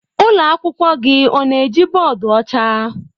Ụlọ akwụkwọ gị ọ na-eji bọọdụ ọcha?